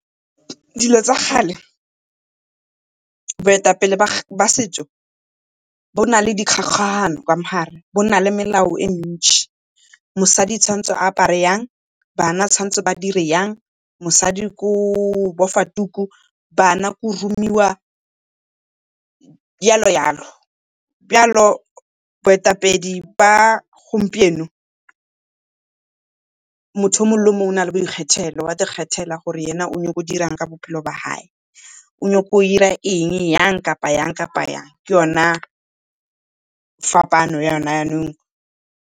Dilo tsa kgale boetapele ba setšo bo na le ka mo gare bo na le melao e mentšhi, mosadi o tshwanetse go apara yang, bana ba tswanetse ba dire jang, mosadi ke go bofa tuku bana ke go romiwa yalo-yalo. boetapedi ba gompieno motho o mongwe le o mongwe o na le boikgethelo, wa kgethela gore ena o nyaka go dira eng ka bophelo ba gae. O nyaka go ira eng yang kapa yang, kapa yang. Ke yona fapano ya .